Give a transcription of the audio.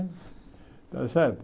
Está certo?